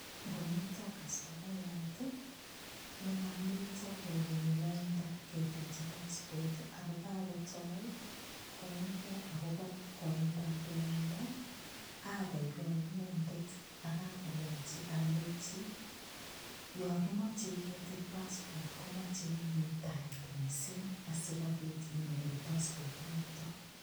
Ngomito kastomayat nekamito kokenyi laida ketilji passport ako akotoi koimgei akobo koindoab lainda akoikoi inendet akang'ololji alechi yo kimochei ketil passport komochei muitaet mising' asikobit inyoru passport noto